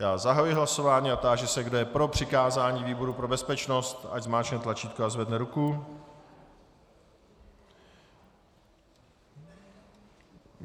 Já zahajuji hlasování a táži se, kdo je pro přikázání výboru pro bezpečnost, ať zmáčkne tlačítko a zvedne ruku.